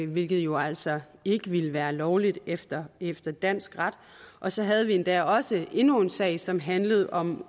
hvilket jo altså ikke ville være lovligt efter efter dansk ret og så havde vi endda også endnu en sag som handlede om